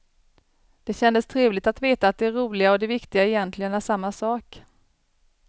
Det kändes trevligt att veta att det roliga och det viktiga egentligen är samma sak.